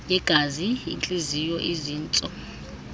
yegazi intliziyo izintso